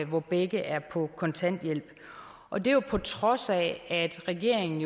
hvor begge er på kontanthjælp og det er jo på trods af at regeringen